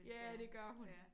Ja det gør hun